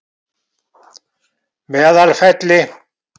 Meðalfelli